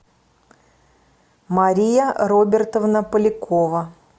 мария робертовна полякова